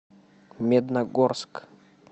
медногорск